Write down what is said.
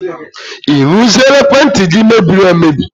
I rụziela ekwentị gị mebiri emebi?